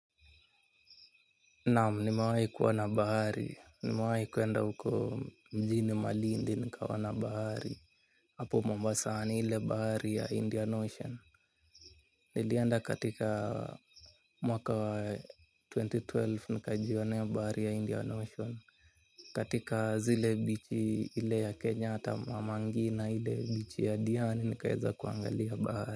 Naam nimewahi kuona bahari nimewahi kuenda huko mjini Malindi nikaona bahari. Hapo Mombasani ile bahari ya india ocean. Nilienda katika mwaka wa twenty twelve nika jionea bahari ya india ocean. Katika zile bichi ile ya Kenyatta Mama Ngina ile bichi ya Diani nikaweza kuangalia bahari.